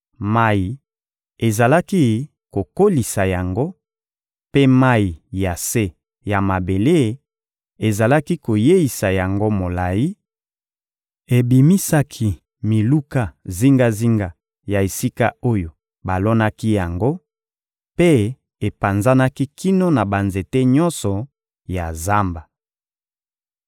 Mayi ezalaki kokolisa yango, mpe mayi ya se ya mabele ezalaki koyeisa yango molayi; ebimisaki miluka zingazinga ya esika oyo balonaki yango mpe epanzanaki kino na banzete nyonso ya zamba.